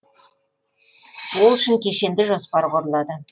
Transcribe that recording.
ол үшін кешенді жоспар құрылады